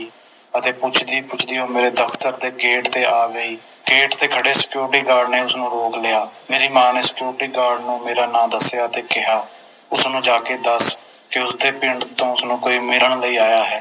ਅਤੇ ਪੁੱਛਦੀ ਪੁੱਛਦੀ ਉਹ ਮੇਰੇ ਦਫਤਰ ਦੇ ਗੇਟ ਤੇ ਆ ਗਈ ਗੇਟ ਤੇ ਖੜ੍ਹੇ Security Guard ਨੇ ਉਸਨੂੰ ਰੋਕ ਲਿਆ ਮੇਰੀ ਮਾਂ ਨੇ Security Guard ਨੂੰ ਮੇਰਾ ਨਾਮ ਦਸਿਆ ਤੇ ਕਿਹਾ ਉਸਨੂੰ ਜਾ ਕੇ ਦੱਸ ਦਿਓ ਕੇ ਪਿੰਡ ਤੋਂ ਉਸਨੂੰ ਕੋਈ ਮਿਲਣ ਲਈ ਆਇਆ ਹੈ